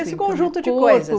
Esse conjunto de coisas.